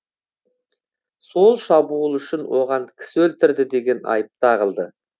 сол шабуыл үшін оған кісі өлтірді деген айып тағылды